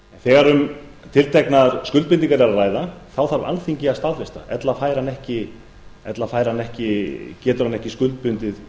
þegar um tilteknar skuldbindingar er að ræða þarf alþingi að staðfesta það ella getur hann ekki skuldbundið